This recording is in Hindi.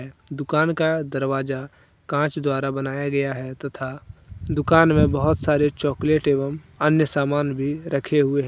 दुकान का दरवाजा कांच द्वारा बनाया गया है तथा दुकान में बहोत सारे चॉकलेट एवं अन्य सामान भी रखे हुए--